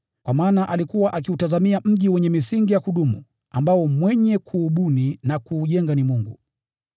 Kwa maana alikuwa akiutazamia mji wenye misingi ya kudumu ambao mwenye kuubuni na kuujenga ni Mungu.